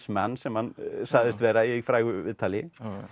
man sem hann sagðist vera í frægu viðtali